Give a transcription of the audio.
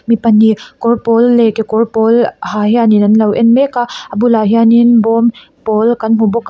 mi pahnih kawr pâwl leh kekawr pawl ha hianin an lo ên mek a a bulah hianin bawm pâwl kan hmu bawk a.